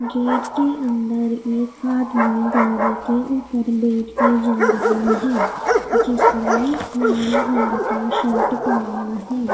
Gate के अंदर एक आदमी गाड़ी के ऊपर बैठ के जा रहा है जिसने लाल रंग का शर्ट पहना है।